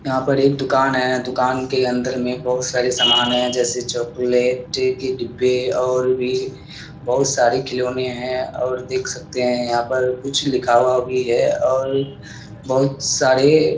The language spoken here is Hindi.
यहाँ पे एक दुकान है। दुकान के अंदर में बोहोत सारे समान हैं जैसे चॉकलेट के डिब्बे और भी बोहोत सारे खिलौने हैं और देख सकते हैं यहाँ पर कुछ लिखा हुआ भी है और बोहोत सारे --